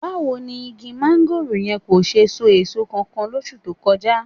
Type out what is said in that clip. Báwo ni igi máńgòrò yẹn kò ṣe so èso kankan lóṣù tó kọjá?